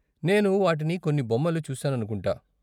నేను వాటిని కొన్ని బొమ్మలు చూసాననుకుంటా.